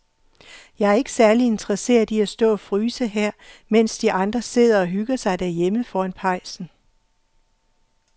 Jeg er ikke særlig interesseret i at stå og fryse her, mens de andre sidder og hygger sig derhjemme foran pejsen.